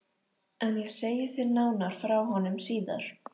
En ég segi þér nánar frá honum síðar.